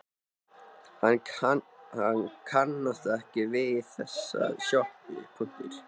Hann kannast ekki við þessa sjoppu.